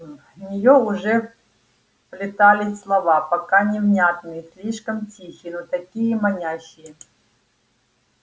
в нее уже вплетались слова пока невнятные слишком тихие но такие манящие